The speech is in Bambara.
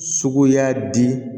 Sugu y'a di